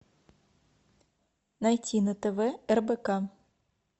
найти на тв рбк